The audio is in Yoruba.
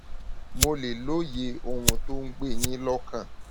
mo lè lóye ohun tó ń gbé e yín lọkàn